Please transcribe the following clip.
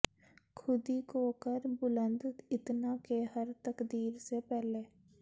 ਖ਼ੁਦੀ ਕੋ ਕਰ ਬੁਲੰਦ ਇਤਨਾ ਕੇ ਹਰ ਤਕਦੀਰ ਸੇ ਪਹਿਲੇ